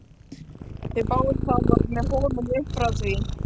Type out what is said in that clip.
Þau þáðu það og voru með honum upp frá því.